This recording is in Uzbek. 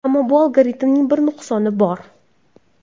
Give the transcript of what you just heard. Ammo bu algoritmning bir nuqsoni bor.